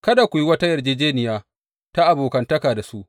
Kada ku yi wata yarjejjeniya ta abokantaka da su.